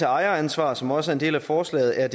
ejeransvar som også er en del af forslaget er